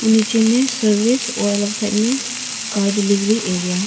नीचे में सर्विस और अलग साइड में कार डिलेवरी एरिया ।